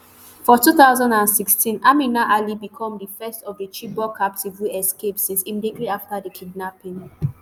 for two thousand and sixteen amina ali become di first of di chibok captives wey escape since immediately afta di kidnapping